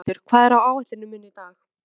Gauthildur, hvað er á áætluninni minni í dag?